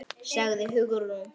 sagði Hugrún.